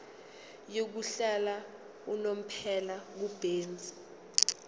yokuhlala unomphela kubenzi